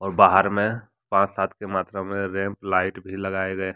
और बाहर में पांच सात के मात्रा में रेंप लाइट भी लगाए गए हैं।